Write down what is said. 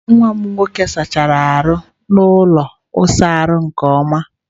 Nwa m nwoke sachara ala ụlọ ịsa ahụ nke ọma.